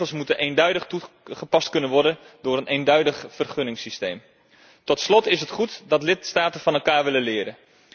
Regels moeten eenduidig toegepast kunnen worden door een eenduidig vergunningssysteem. Tot slot is het goed dat lidstaten van elkaar willen leren.